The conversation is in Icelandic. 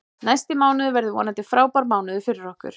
Næsti mánuður verður vonandi frábær mánuður fyrir okkur.